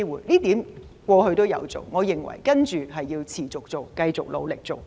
這點政府過去也有做，我認為需要持續做，繼續努力做。